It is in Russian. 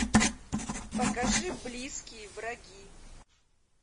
покажи близкие враги